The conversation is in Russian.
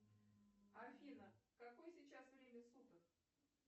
афина какое сейчас время суток